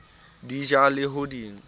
di ja le ho di